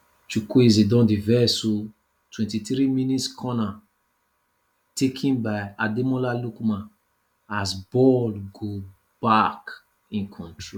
chukwueze don dey vex oooo Twenty three mins corner taken by ademola lookman as ball go back in control